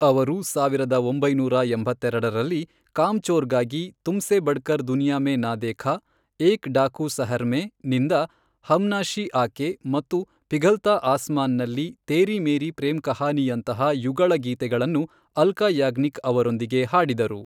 ಅವರು ಸಾವಿರದ ಒಂಬೈನೂರ ಎಂಬತ್ತೆರೆಡರಲ್ಲಿ, 'ಕಾಮ್ಚೋರ್'ಗಾಗಿ ತುಮ್ಸೆ ಬಡ್ಕರ್ ದುನಿಯಾ ಮೇ ನ ದೇಖಾ, ಏಕ್ ಡಾಕು ಸಹರ್ ಮೇ ನಿಂದ ಹಮನಾಶಿ ಆಕೆ ಮತ್ತು ಪಿಘಲತಾ ಆಸ್ಮಾನ್ ನಲ್ಲಿ ತೇರಿ ಮೇರಿ ಪ್ರೇಮ್ ಕಹಾನಿಯಂತಹ ಯುಗಳ ಗೀತೆಗಳನ್ನು ಅಲ್ಕಾ ಯಾಗ್ನಿಕ್ ಅವರೊಂದಿಗೆ ಹಾಡಿದರು.